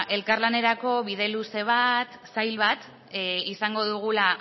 elkarlanerako bide luze zail bat izango dugula